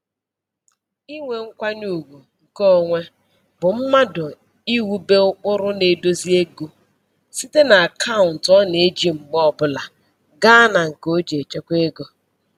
Inwe nkwanyeugwu nke onwe bụ mmadụ iwube ụkpụrụ na-edozi ego site na akaụntụ ọ na-eji mgbe ọbụla gaa na nke o ji echekwa ego